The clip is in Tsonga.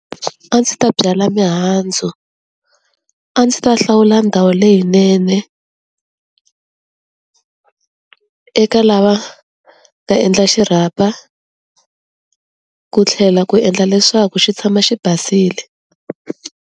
A ndzi ta byala mihandzu, a ndzi ta hlawula ndhawu leyinene eka lava va endla xirhapa, ku tlhela ku endla leswaku xi tshama xi basile.